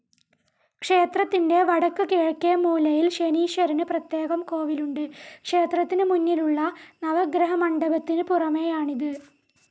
ക്ഷേത്രത്തിന്റെ വടക്ക് കിഴക്കേ മൂലയിൽ ശനീശ്വരന് പ്രത്യേകം കോവിൽ ഉണ്ട്. ക്ഷേത്രത്തിനുമുന്നിലുള്ള നവഗ്രഹമണ്ഡപത്തിനു പുറമേയാണിത്.